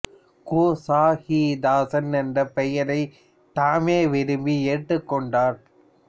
கு சா கி தாசன் என்ற பெயரைத் தாமே விரும்பி ஏற்றுக்கொண்டார்